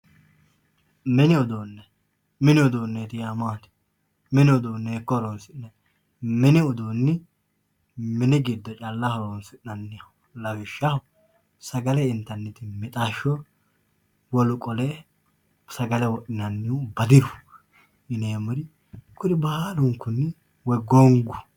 mini uduunne mini uduunne yaa maati mini uduunne hiikko horoonsi'nanni mini uduunni mini giddo calla horoonsi'nanniho lawishshaho sagale intanniti mixashsho wolu qole sagale wodhinannihu badiru kuri baalunkunni wolu qole sagale wodhinannihu badiru